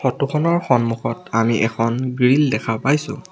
Photo খনৰ সন্মুখত আমি এখন গ্ৰিল দেখা পাইছোঁ।